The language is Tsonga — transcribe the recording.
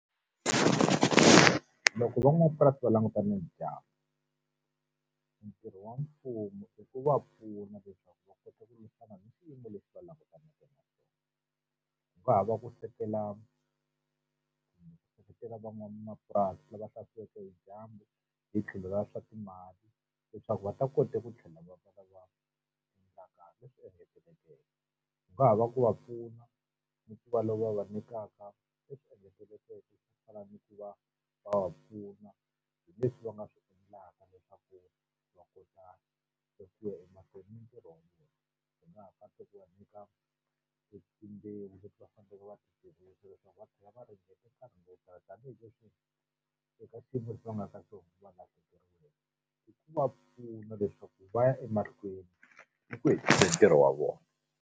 Loko van'wamapurasi va languta na dyandza, entirho wa mfumo i ku va pfuna leswaku va kota ku lwisana ni swiyimo leswi va langutanaka na swona. Seketela van'wamapurasi lava hlaseriweke hi dyandza hi tlhelo ra swa timali leswaku va ta kota ku tlhela va va lava endlaka leswi engetelekeke. Ku nga ha va ku va pfuna, ni ku va lava va nyikaka ku fana ni ku va va va pfuna hi leswi va nga swi endlaka leswaku va kota ku ya emahlweni mitirho . Wu nga ha kota ku va nyika etimbewu leti va faneleke va leswaku va tlhela va ringeta nkarhi wo tala tanihileswi eka xiyimo lexi va nga ka xona i ku va pfuna leswaku va ya ematikweni ntirho wa vona.